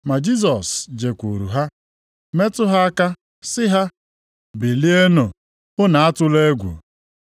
Ma Jisọs jekwuuru ha metụ ha aka sị ha, “Bilienụ, unu atụla egwu.”